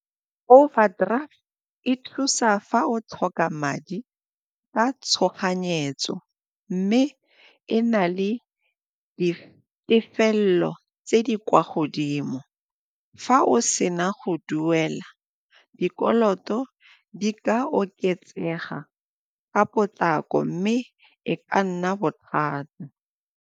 Overdraft e thusa fa o tlhoka madi ka tshoganyetso mme e na le ditefelelo tse di kwa go godimo. Fa o sena go duela, dikoloto di ka oketsega ka potlako mme e ka nna bothata.